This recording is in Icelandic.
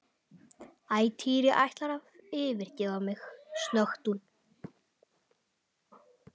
Æ, Týri ætlarðu að yfirgefa mig? snökti hún.